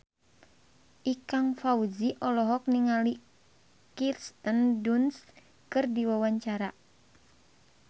Ikang Fawzi olohok ningali Kirsten Dunst keur diwawancara